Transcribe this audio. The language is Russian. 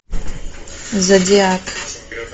зодиак